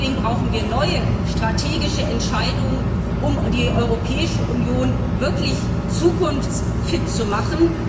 Deswegen brauchen wir neue strategische Entscheidungen, um die Europäische Union wirklich zukunftsfit zu machen.